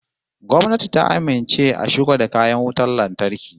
Gwamnati ta amince a shigo da kayan wutan lantarki